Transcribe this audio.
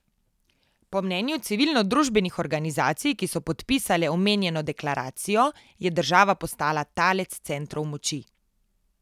Po mnenju civilnodružbenih organizacij, ki so podpisale omenjeno deklaracijo, je država postala talec centrov moči.